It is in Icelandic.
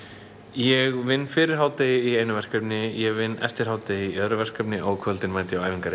ég vinn fyrir hádegi í einu verkefni ég vinn eftir hádegi í öðru verkefni og á kvöldin mæti ég á æfingar í